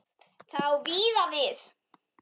Það á víða við.